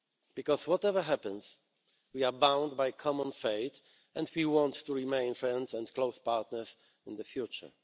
Because whatever happens, we are bound by common fate, and we want to remain friends and close partners in the future.